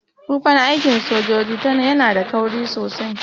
Tufan aikin sojoji yana da kauri sosai.